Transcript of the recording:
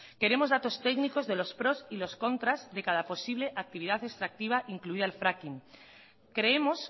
queremos datos técnicos de los pros y los contras de cada posible actividad extractiva incluida el fracking creemos